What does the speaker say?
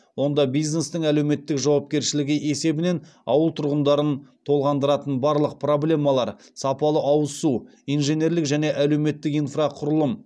онда бизнестің әлеуметтік жауапкершілігі есебінен ауыл тұрғындарын толғандыратын барлық проблемалар сапалы ауызсу инженерлік және әлеуметтік инфрақұрылым